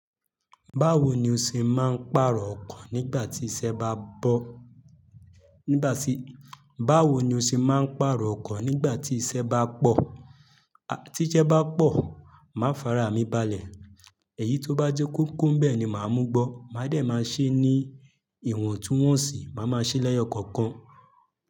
Báwo ni o ṣe máa ń pàrọ̀ ọkọ̀ nígbà tí iṣẹ́ bá pọ̀? Báwo ni o ṣe máa ń pàrọ̀ ọkọ̀ nígbà tí iṣẹ́ bá pọ̀? Tí iṣẹ́ bá pọ̀, màá farami balẹ̀. Èyí tó bá jẹ́ kókó nbẹ̀ ni màá mú gbọ́. Màá dẹ̀ máa ṣe ní ìwọ̀n tun wọ́n sí, màá máa ṣe lẹ́yọ̀ kọ̀ọ̀kan.